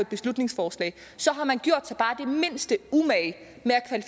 beslutningsforslag har man gjort sig bare den mindste umage med at